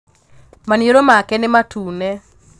Maniūrū make nī matune